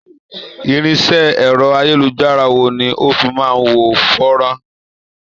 Irinṣẹ́ ẹ̀rọ-ayélujára wo ni o fi máa ń wo fọ́nrán?